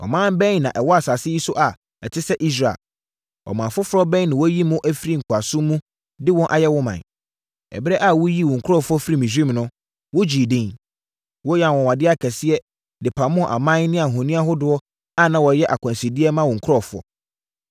Ɔman bɛn na ɛwɔ asase yi so a ɛte sɛ Israel? Ɔman foforɔ bɛn na woayi no afiri nkoasom mu de wɔn ayɛ wo ɔman? Ɛberɛ a woyii wo nkurɔfoɔ firii Misraim no, wogyee edin. Woyɛɛ anwanwadeɛ akɛseɛ de pamoo aman ne ahoni ahodoɔ a na wɔyɛ akwansideɛ ma wo nkurɔfoɔ.